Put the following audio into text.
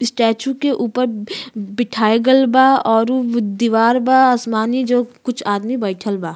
Statue के ऊपर बिठाई गइल बा औरू दीवार बा आसमानी जो कुछ आदमी बइठल बा।